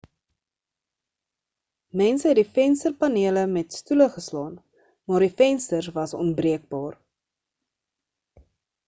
mense het die vensterpanele met stoele geslaan maar die vensters was onbreekbaar